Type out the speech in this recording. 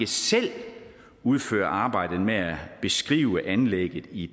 selv udføre arbejdet med at beskrive anlægget i